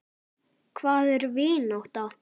Hvað er vinátta?